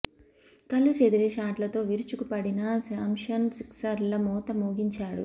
కళ్లు చెదిరే షాట్లతో విరుచుకు పడిన శాంసన్ సిక్సర్ల మోత మోగించాడు